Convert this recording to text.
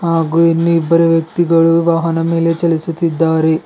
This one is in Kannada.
ಹಾಗೂ ಇನ್ನಿಬ್ಬರು ವ್ಯಕ್ತಿಗಳು ವಾಹನದ ಮೇಲೆ ಚಲಿಸುತ್ತಿದ್ದಾರೆ.